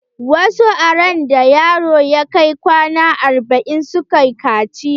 Wasu a randa yaro ya kai kwana arba'in suke kaciya.